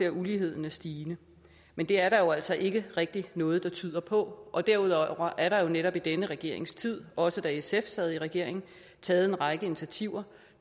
at uligheden er stigende men det er der jo altså ikke rigtig noget der tyder på derudover er der jo netop i denne regerings tid også da sf sad i regering taget en række initiativer